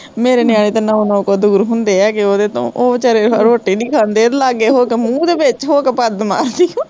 ਮੇਰੇ ਨਿਆਣੇ ਤਾਂ ਨੌ ਨੌ ਕੋਹ ਦੂਰ ਹੁੰਦੇ ਐਗੇ ਉਹਦੇ ਤੋਂ, ਉਹ ਵਿਚਾਰੇ ਰੋਟੀ ਨੀ ਖਾਂਦੇ, ਲਾਗੇ ਹੋਕੇ, ਮੁਹ ਦੇ ਵਿੱਚ ਹੋਕੇ ਪਦ ਮਾਰਦੀ ਐ